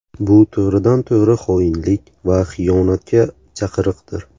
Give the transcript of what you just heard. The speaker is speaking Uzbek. Bu to‘g‘ridan-to‘g‘ri xoinlik va xiyonatga chaqiriqdir.